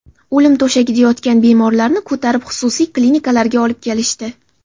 O‘lim to‘shagida yotgan bemorlarni ko‘tarib xususiy klinikalarga olib kelishdi.